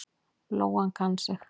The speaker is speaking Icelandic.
Lóan kann sig.